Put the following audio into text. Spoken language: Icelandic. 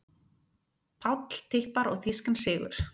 Páll tippar á þýskan sigur